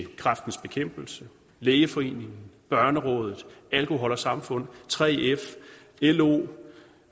kræftens bekæmpelse lægeforeningen børnerådet alkohol samfund 3f lo